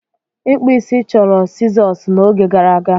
Ịkpụ isi chọrọ sizoosi n'oge gara aga.